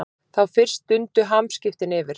Þá fyrst dundu hamskiptin yfir.